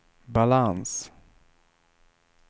balans